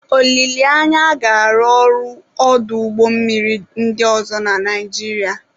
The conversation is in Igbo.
Olileanya, a ga-arụ ọrụ ọdụ ụgbọ mmiri ndị ọzọ na Nigeria.